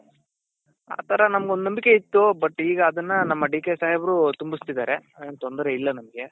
ಆ ತರ ನಮ್ಗ್ ಒಂದ್ ನಂಬಿಕೆ ಇತ್ತು but ಈಗ ಅದನ್ನ ನಮ್ಮ DK ಸಾಹೇಬ್ರು ತುಂಬುಸ್ತಿದಾರೆ ಏನ್ ತೊಂದರೆ ಇಲ್ಲ ನಮ್ಗೆ.